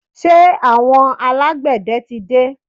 Ṣé àwọn alágbẹ̀dẹ tí dé?